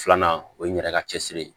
Filanan o ye n yɛrɛ ka cɛsiri ye